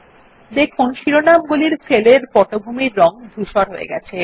দেখুন শিরোনামগুলির সেলের পটভূমির রং ধূসর হয়ে গেছে